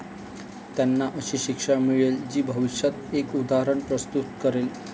त्यांना अशी शिक्षा मिळेल जी भविष्यात एक उदाहरण प्रस्तुत करेल.